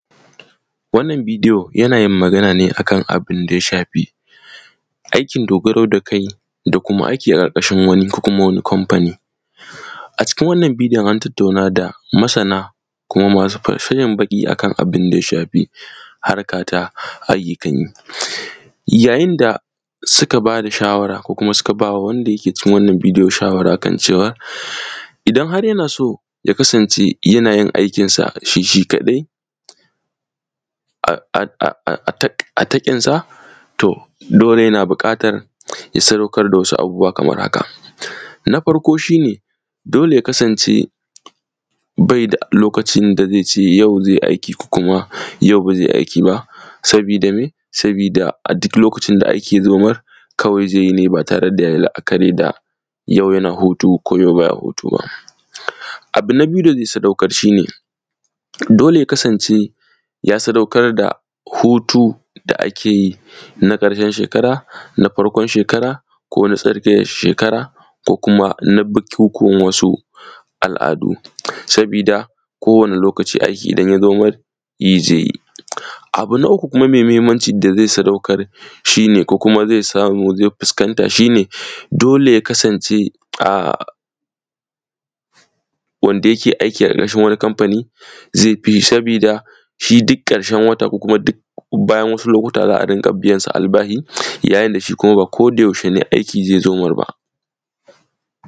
Wannan bidiyo, yana yin magana ne a kana bin da ya shafi aikin dogaro da kai da kuma aiki a ƙarƙashin wani ko kuma wani komfani. A cikin wannan bidiyon, an tattauna da masana kuma masu fal; sanin baƙi a kana bin da ya shafi harka ta ayyukan yi. Yayin da suka ba da shawara ko kuma suka ba wanda ke cikin wannan bidiyo shawara kan cewa, idan har yana so ya kasance yana yin aikinsa shi shi kaɗai, a;a;a;a; a taƙ; a taƙinsa, to, dole yana biƙatar ya sadaukar da wasu abubuwa kamar haka: na farko shi ne, dole ya kasance bai da lokacin da zai ce yau zai aiki ko kuma yau ba ze aiki ba, sabida me, sabida a dik lokacin da aiki ya zo mar, kawai ze yi ne ba tare da ya yi la’akari da yau yana hutu ko yau ba ya hutu ba. Abu na biyu da ze sadaukar, shi ne, dole ya kasance ya sadaukar da hutu da ake yin a ƙarshen shekara na farkon shekara ko na tsakiyar shekara ko kuma na bikyikuwan wasu al’adu sabida kowane lokaci aiki idan ya zo mar, yi ze yi. Abu na uku kuma me mahimmanci da ze sadaukar, shi ne ko kuma ze samu ze fiskanta, shi ne, dole ya kasance a; wanda yake aiki a ƙarƙashin wani kamfani, ze fi sabida shi dik ƙarshen wata ko kuma dik bayan wasu lokuta za a rinƙa biyan sa albahi, yayin da shi kuma ba kodayashe ne aiki ze zo mar ba.